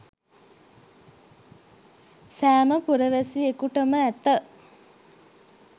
සෑම පුරවැසියෙකුටම ඇත